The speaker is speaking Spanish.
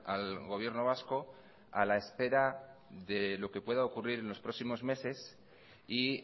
al gobierno vasco a la espera de lo que pueda ocurrir en los próximos meses y